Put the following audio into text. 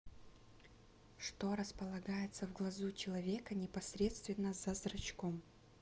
что располагается в глазу человека непосредственно за зрачком